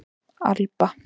Alba